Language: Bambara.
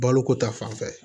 Baloko ta fan fɛ